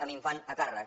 amb infant a càrrec